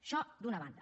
això d’una banda